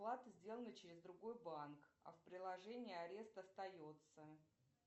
оплата сделана через другой банк а в приложении арест остается